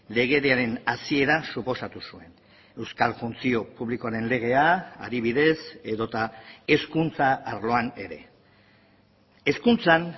legediaren hasiera suposatu zuen euskal funtzio publikoaren legea adibidez edota hezkuntza arloan ere hezkuntzan